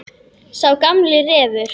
Sá gamli refur.